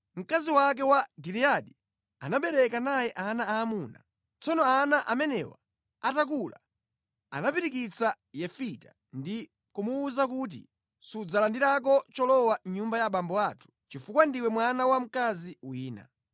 Mkazi wake wa Giliyadi anabereka naye ana aamuna. Tsono ana amenewa atakula anapirikitsa Yefita ndi kumuwuza kuti, “Sudzalandirako cholowa mʼnyumba ya abambo athu chifukwa ndiwe mwana wa mkazi wina.”